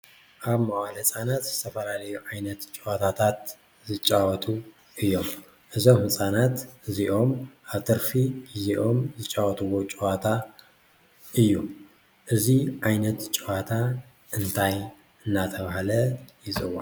አብ መዋእለ ህፃናት ዝተፈላለዩ ዓይነት ጨወታታት ይጫወቱ እዮም፡፡ እዞም ህፃናት እዚኦም አብ ትርፊ ግዚኦም ዝጫወትዎም ጨዋታ እዩ፡፡ እዚ ዓይነት ጨወታ እንታይ እናተብሃለ ይፅዋዕ?